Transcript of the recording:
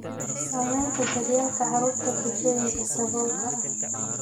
Saamaynta daryeelka carruurta bulshooyinka saboolka ah.